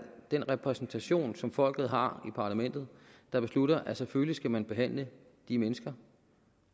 den repræsentation som folket har i parlamentet der beslutter at selvfølgelig skal man behandle de mennesker